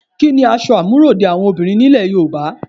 Kí ni aṣọ àmúròde àwọn obìnrin nílẹ̀ Yorùbá?